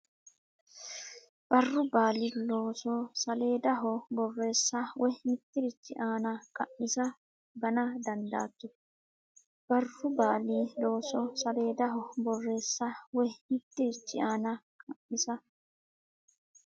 Barru baali looso saleedaho borreessa woy mittirichi aana qa misa gana dandaatto Barru baali looso saleedaho borreessa woy mittirichi aana qa misa.